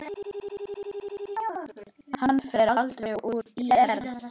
Hann fer aldrei úr ÍR.